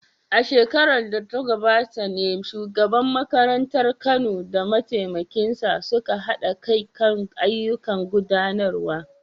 A shekarar da ta gabata ne shugaban makarantar Kano da mataimakinsa suka haɗa kai kan ayyukan gudanarwa.